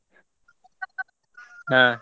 ಹಾ.